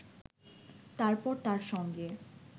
তারপর তার সঙ্গে